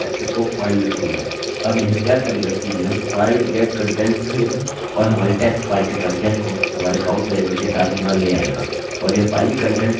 अब यह क्या करेगा कि यह file_get_contents कहेगा और हमारी टेक्स्ट फाइल के कंटेंट्स को हमारे काउंट वेरिएबल के साथ यहाँ ले आएगा